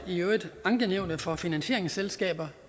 ankenævnet for finansieringsselskaber